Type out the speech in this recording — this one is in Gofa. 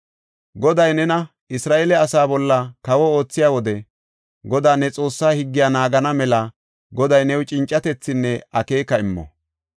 Goday nena Isra7eele asaa bolla kawo oothiya wode, Godaa ne Xoossaa higgiya naagana mela Goday new cincatethinne akeeka immo.